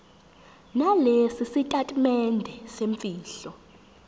nalesi sitatimende semfihlo